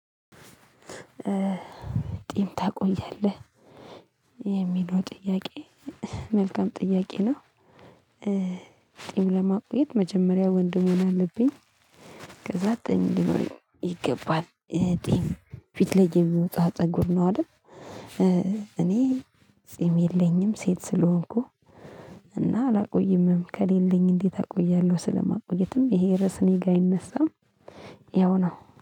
ጥይም ታቆያለህ የሚለው ጥያቄ መልካም ጥያቄ ነው። ጥይም ለማቆየት መጀመሪያ ወንድ መሆን አለብኝ ከዛ እንዲሆን ይገባል። ጥይም ፊት ላይ የሚወጣ ፀጉር ነው አይደል? እኔ ጥይም የለኝም። ሴት ስለሆንኩ እና አላቆይምም ከሌለኝ እንዴት አቆያለሁ? ስለማቆየትም ይሄ ርዕስ እኔ ጋር አይነሳም። ያው ነው